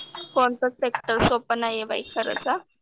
कोणतं सेक्टर सोपं नाहीये बाई करायचं.